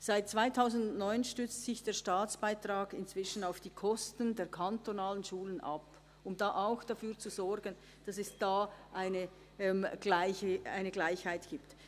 Seit 2009 stützt sich der Staatsbeitrag auf die Kosten der kantonalen Schulen und soll auch dafür zu sorgen, dass es dabei eine Gleichheit gibt.